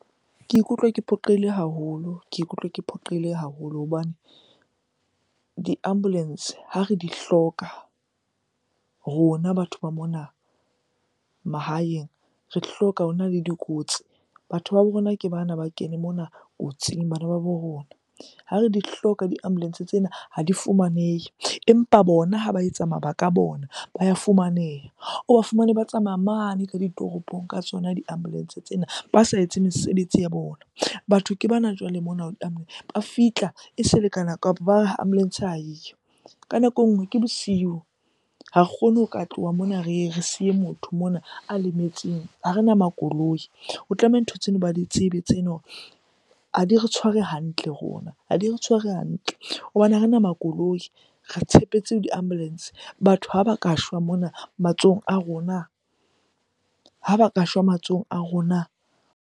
Ke ikutlwa ke phoqeile haholo, ke ikutlwa ke phoqeile haholo hobane di-ambulance ha re di hloka rona batho ba mona mahaeng, re di hloka ho na le dikotsi. Batho ba bo rona ke bana ba kene mona kotsing, bana ba bo rona. Ha re di hloka di-mbulance tsena ha di fumanehe, empa bona ha ba etsa mabaka a bona ba ya fumaneha. O ba fumane ba tsamaya mane ka ditoropong ka tsona di-ambulance tsena ba sa etse mesebetsi ya bona. Batho ke bana jwale mona ba fihla e sa di-ambulance ha eyo. Ka nako e nngwe ke bosiu, ha re kgone ho ka tloha mona re re siye motho mona a lemetseng, ha rena makoloi. Ho tlameha ntho tseno ba di tsebe tseno ha di re tshware hantle rona, ha di re tshware hantle. Hobane ha rena makoloi, re tshepetse ho di ambulance. Batho ha ba ka shwa mona matsohong a rona, ha ba ka shwa matsohong a rona.